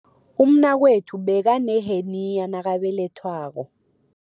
Umnakwethu bekaneheniya nakabelethwako.